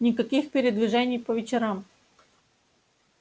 никаких передвижений по вечерам